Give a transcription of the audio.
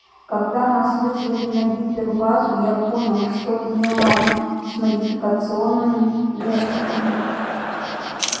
когда нас вызвали на гипербазу я понял что-то неладно с модификационными несторами